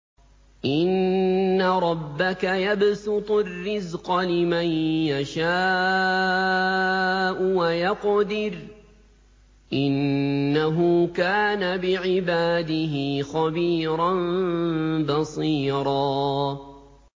إِنَّ رَبَّكَ يَبْسُطُ الرِّزْقَ لِمَن يَشَاءُ وَيَقْدِرُ ۚ إِنَّهُ كَانَ بِعِبَادِهِ خَبِيرًا بَصِيرًا